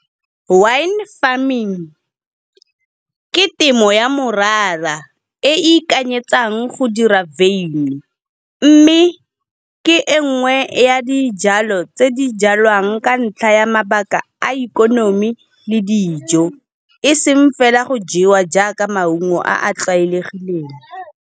Wine farming ke temo ya morara e e ikanyetsang go dira beini, mme ke engwe ya dijalo tse di jalwang ka ntlha ya mabaka a ikonomi le dijo, e seng fela go jewa jaaka maungo a a tlwaelegileng.